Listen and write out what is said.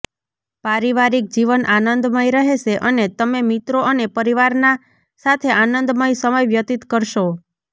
પારિવારિક જીવન આનંદમય રહેશે અને તમે મિત્રો અને પરિવાર ના સાથે આનંદમય સમય વ્યતીત કરશો